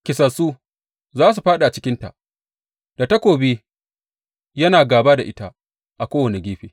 Kisassu za su fāɗi a cikinta, da takobi yana gāba da ita a kowane gefe.